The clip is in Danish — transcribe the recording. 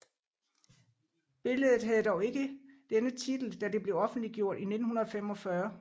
Billedet havde dog ikke denne titel da det blev offentliggjort i 1945